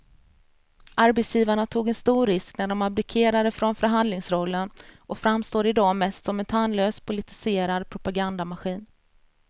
Arbetsgivarna tog en stor risk när de abdikerade från förhandlingsrollen och framstår i dag mest som en tandlös politiserad propagandamaskin.